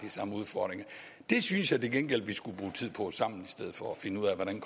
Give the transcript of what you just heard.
samme udfordringer det synes jeg til gengæld at vi skulle bruge tid på sammen for at finde ud af hvordan